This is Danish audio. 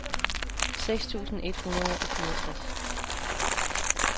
seks tusind et hundrede og fireogtres